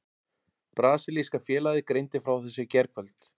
Brasilíska félagið greindi frá þessu í gærkvöld.